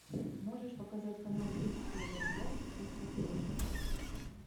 можешь показать канал бридж тв классик на смотрешке